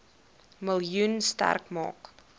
miljoen sterk maak